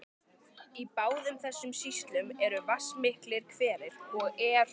Í báðum þessum sýslum eru vatnsmiklir hverir, og er